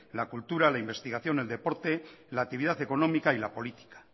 la cultura la investigación el deporte la actividad económica y la política